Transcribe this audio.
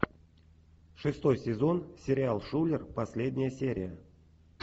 шестой сезон сериал шулер последняя серия